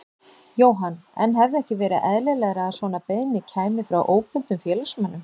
Jóhann: En hefði ekki verið eðlilegra að svona beiðni kæmi frá óbundnum félagsmönnum?